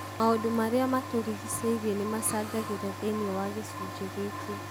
Maũndũ marĩa matũrigicĩirie nĩmacagagĩra thĩinĩ wa gĩcunjĩ gĩkĩ.